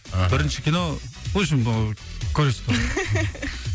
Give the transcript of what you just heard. мхм бірінші кино в общем ы көресіздер ғой